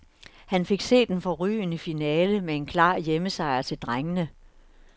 Han fik set en forrygende finale med en klar hjemmesejr til drengene.